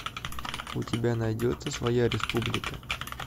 у тебя найдется своя республика